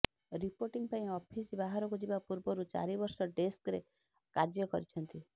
reporting ପାଇଁ office ବାହାରକୁ ଯିବା ପୂର୍ବରୁ ଚାରି ବର୍ଷ ଡ଼େସ୍କ୍ ରେ କାର୍ଯ୍ୟ କରିଛନ୍ତି